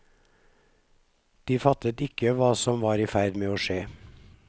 De fattet ikke hva som var i ferd med å skje.